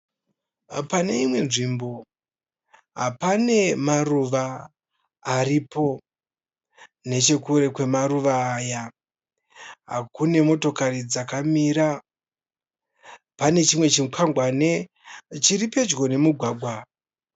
Pane imwe nzvimbo pane maruva aripo. Nechekure kwemaruva aya kune motokari dzakamira. Pane chimwe chikwangwane chiri pedyo nemugwagwa.